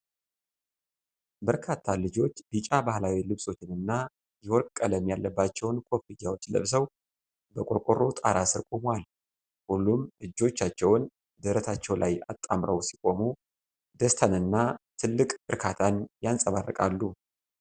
በርካታ ልጆች ቢጫ ባህላዊ ልብሶችን እና የወርቅ ቀለም ያለባቸዉን ኮፍያዎች ለብሰው በቆርቆሮ ጣራ ሥር ቆመዋል። ሁሉም እጆቻቸውን ደረታቸው ላይ አጣምረዉ ሲቆሙ ደስታንና ትልቅ እርካታን ያንጸባርቃሉ።